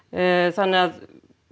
þannig að